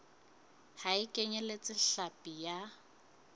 ha e kenyeletse hlapi ya